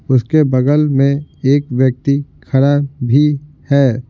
उसके बगल में एक व्यक्ति खड़ा भी है।